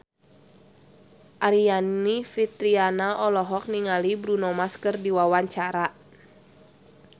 Aryani Fitriana olohok ningali Bruno Mars keur diwawancara